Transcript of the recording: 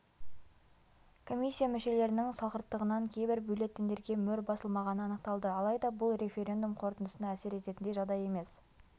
комиссия мүшелерінің салғырттығынан кейбір бюллетендерге мөр басылмағаны анықталды алайда бұл референдум қорытындысына әсер ететіндей жағдай емес